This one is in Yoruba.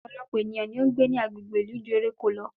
Ọ̀pọ̀lọpọ̀ ènìyàn ni ó ń gbé ní agbègbè ìlú ju eréko lọ